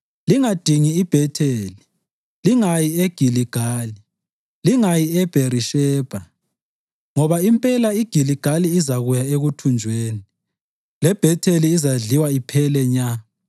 lingadingi iBhetheli, lingayi eGiligali, lingayi eBherishebha. Ngoba impela iGiligali izakuya ekuthunjweni, leBhetheli izadliwa iphele nya.”